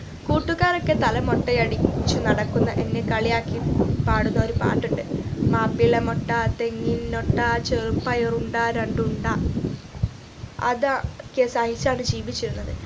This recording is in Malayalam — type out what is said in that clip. കൂട്ടുകാരൊക്കെ തല മൊട്ടയടി ചു നടക്കുന്ന എന്നെ കളിയാക്കി പാടുന്ന ഒരു പാട്ടുണ്ട് മാപ്പിള മൊട്ട തെങ്ങിൻ ഒട്ട ചെറു പയറുണ്ട രണ്ടുണ്ട അതാ ക്കെ സഹിച്ചാണ് ജീവിച്ചിരുന്നത്